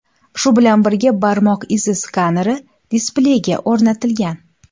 Shu bilan birga barmoq izi skaneri displeyga o‘rnatilgan.